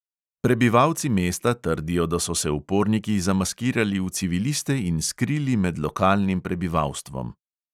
Prebivalci mesta trdijo, da so se uporniki zamaskirali v civiliste in skrili med lokalnim prebivalstvom.